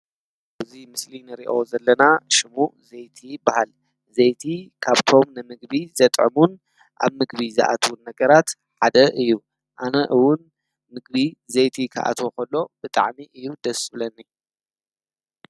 እዙይ ምስሊን ርእዮ ዘለና ሽሙ ዘይቲ በሃል ዘይቲ ካብ ቶም ነምግቢ ዘጠሙን ኣብ ምግቢ ዝኣትዉን ነገራት ዓደ እዩ ኣነእውን ምግቢ ዘይቲ ኽኣተዎኾሎ ብጣዕኒ እዩ ደስብለኒ።